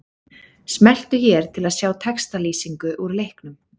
Smelltu hér til að sjá textalýsingu úr leiknum